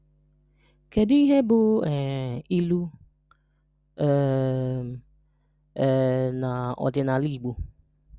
Kedu íhé bụ um ilu um um na ọdịnala Igbo?